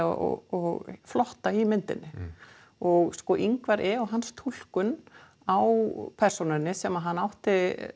og flotta í myndinni og sko Ingvar e og hans túlkun á persónunni sem hann átti